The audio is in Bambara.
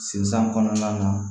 Sisan kɔnɔna na